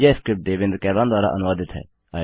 यह स्क्रिप्ट देवेन्द्र कैरवान द्वारा अनुवादित है